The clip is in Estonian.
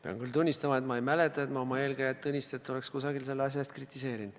Pean küll tunnistama, et ma ei mäleta, et ma oma eelkäijat Tõnistet oleksin kusagil selle asja eest kritiseerinud.